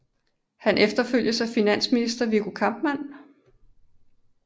Han efterfølges af finansminister Viggo Kampmann